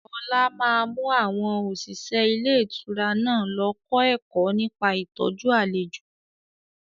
Ọlá máa mú àwọn òṣìṣẹ́ ilé ìtura náà lọ kọ́ ẹ̀kọ́ nípa ìtọ́jú àlejò